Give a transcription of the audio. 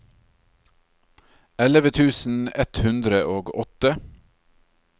elleve tusen ett hundre og åtte